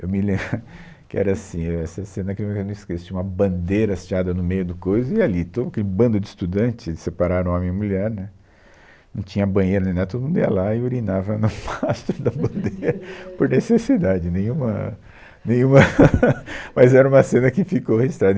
Eu me lembro que era assim, essa cena que eu nunca me esqueço, tinha uma bandeira estiada no meio do coiso e ali, todo aquele bando de estudantes, separaram homem e mulher, né, não tinha banheiro e nem nada, todo mundo ia lá e urinava no mastro da bandeira, por necessidade, nenhuma, nenhuma, mas era uma cena que ficou registrada.